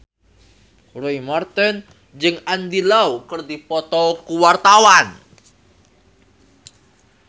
Roy Marten jeung Andy Lau keur dipoto ku wartawan